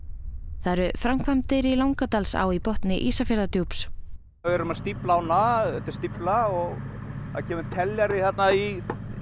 það eru framkvæmdir í Langadalsá í botni Ísafjarðardjúps við erum að stífla ána þetta er stífla og það kemur teljari þarna í